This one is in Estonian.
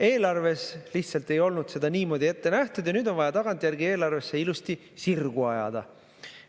Eelarves lihtsalt ei olnud seda niimoodi ette nähtud ja nüüd on vaja tagantjärgi eelarves see ilusti sirgu ajada.